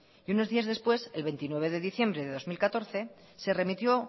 y unos días después el veintinueve de diciembre de dos mil catorce se remitió